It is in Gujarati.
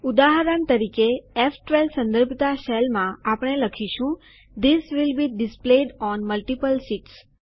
ઉદાહરણ તરીકે ફ12 સંદર્ભતા સેલમાં આપણે લખીશું this will be displayed on multiple sheets